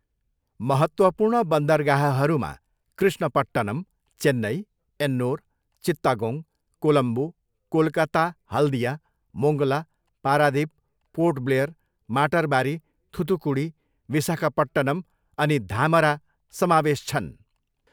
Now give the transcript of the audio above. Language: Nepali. महत्त्वपूर्ण बन्दरगाहहरूमा कृष्णपट्टनम, चेन्नई, एन्नोर, चित्तागोङ, कोलम्बो, कोलकाता हल्दिया, मोङ्गला, पारादिप, पोर्ट ब्लेयर, माटरबारी, थुथुकुडी, विसाखापट्टनम अनि धामरा समावेश छन्।